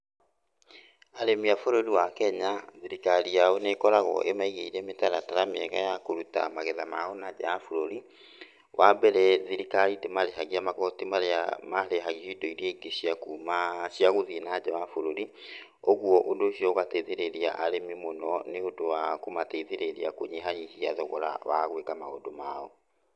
Arĩmi a bũrũri wa Kenya, thirikari yao nĩ ĩkoragwo ĩmaigĩire mĩtaratara mĩega ya kũruta yao nanja ya bũrũri. Wa mbere, thirikari ndĩmarĩhagia magoti marĩa marĩhagio indo iria ingĩ cia kuuma, cia gũthiĩ nanja wa bũrũri. Ũguo, ũndũ ũcio ũgateithĩrĩria arĩmi mũno nĩ ũndũ wa kũmateithĩrĩria kũnyihanyihia thogora wa gũĩka maũndũ mao.